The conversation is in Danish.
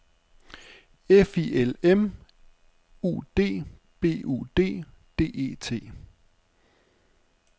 F I L M U D B U D D E T